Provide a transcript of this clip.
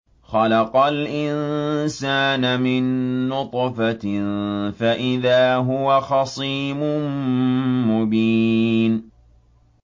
خَلَقَ الْإِنسَانَ مِن نُّطْفَةٍ فَإِذَا هُوَ خَصِيمٌ مُّبِينٌ